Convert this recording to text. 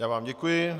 Já vám děkuji.